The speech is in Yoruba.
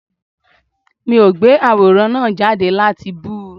Mi ò gbé àwòrán náà jáde láti bú u